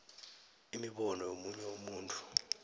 imibono yomunye umuntu